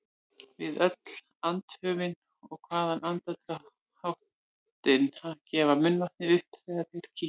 Við öll andköfin og hraðan andardráttinn gufar munnvatnið upp þegar þeir kyngja.